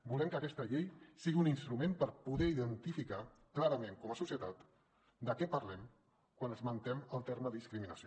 volem que aquesta llei sigui un instrument per poder identificar clarament com a societat de què parlem quan esmentem el terme discriminació